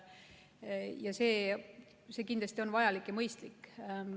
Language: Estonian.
Ja see on kindlasti vajalik ja mõistlik.